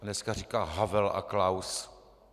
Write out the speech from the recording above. A dneska říká Havel a Klaus.